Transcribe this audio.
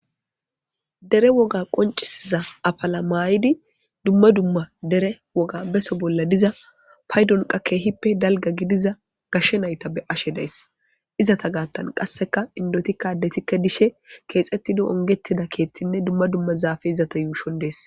dere woga qoncisiza apala maayidi dumma dumma dere woga beso bolla diza paydonqa keehippe dalga gidiza gashshe nayta be ashe days izata gaattan qasseka indotikkadetikka dishe keexettido ongetida keethtinne dumma dumma zaafe izata yuushon dees.